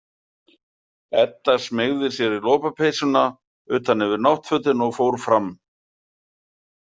Edda smeygði sér í lopapeysuna utan yfir náttfötin og fór fram.